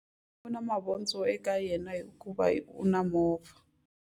U na mavondzo eka yena hikuva u na movha.